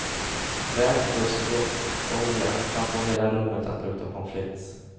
Värmd fuskolja kan få hela rummet att lukta pommes frites.